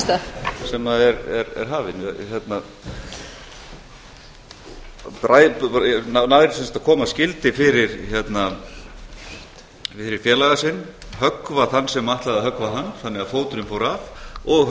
setningunni í það minnstasem er hafin hann nær sem sagt að koma skildi fyrir félaga sinn höggva þann sem ætlaði að höggva hann þannig að fóturinn fór af og